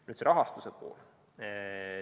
Nüüd see rahastuse pool.